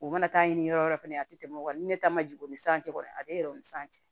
U mana taa ɲini yɔrɔ yɔrɔ fɛnɛ a te tɛmɛ o kan ni ne ta ma jigin o ni san cɛ kɔni a be yɛlɛ o ni san cɛ